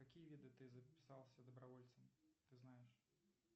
какие виды ты записался добровольцем ты знаешь